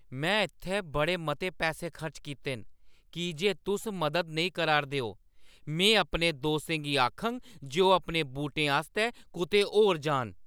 में इत्थै बड़े मते पैसे खर्च कीते न। की जे तुस मदद नेईं करा 'रदे ओ, में अपने दोस्तें गी आखङ जे ओह् अपने बूटेंआस्तै कुतै होर जान ।